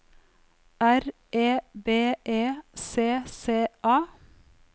R E B E C C A